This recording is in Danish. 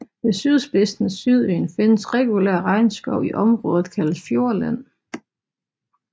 Ved sydspidsen af Sydøen findes regulær regnskov i området kaldet Fjordland